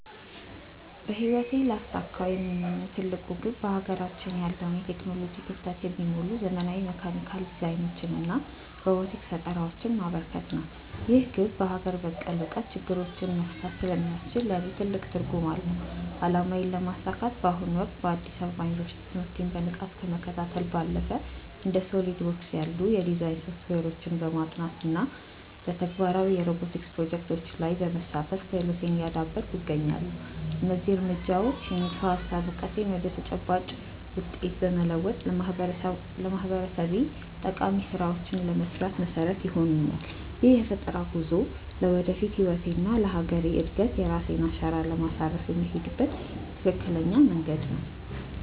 በህይወቴ ሊያሳኩት የምመኘው ትልቁ ግብ በሀገራችን ያለውን የቴክኖሎጂ ክፍተት የሚሞሉ ዘመናዊ የሜካኒካል ዲዛይኖችንና ሮቦቲክስ ፈጠራዎችን ማበርከት ነው። ይህ ግብ በሀገር በቀል እውቀት ችግሮችን መፍታት ስለሚያስችል ለእኔ ትልቅ ትርጉም አለው። አላማዬን ለማሳካት በአሁኑ ወቅት በአዲስ አበባ ዩኒቨርሲቲ ትምህርቴን በንቃት ከመከታተል ባለፈ፣ እንደ SOLIDWORKS ያሉ የዲዛይን ሶፍትዌሮችን በማጥናት እና በተግባራዊ የሮቦቲክስ ፕሮጀክቶች ላይ በመሳተፍ ክህሎቴን እያዳበርኩ እገኛለሁ። እነዚህ እርምጃዎች የንድፈ-ሀሳብ እውቀቴን ወደ ተጨባጭ ውጤት በመለወጥ ለማህበረሰቤ ጠቃሚ ስራዎችን ለመስራት መሰረት ይሆኑኛል። ይህ የፈጠራ ጉዞ ለወደፊት ህይወቴና ለሀገሬ እድገት የራሴን አሻራ ለማሳረፍ የምሄድበት ትክክለኛ መንገድ ነው።